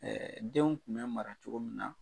denw tun bɛ mara cogo min na.